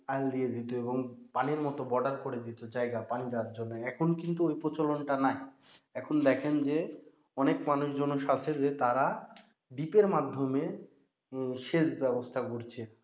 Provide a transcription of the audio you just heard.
আল দিয়ে দিত এবং পানির মতো border করে দিত জায়গা পানি যাওয়ার জন্য, এখন কিন্তু ঐ প্রচলনটা নাই, এখন দেখেন যে অনেক মানুষজন সাথে যে তারা ডীপের মাধ্যমে সেচ ব্যবস্থা করছে,